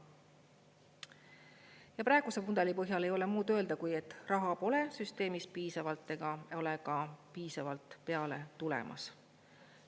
Ja praeguse mudeli põhjal ei ole muud öelda, kui et raha pole süsteemis piisavalt ega ole ka piisavalt peale tulemas.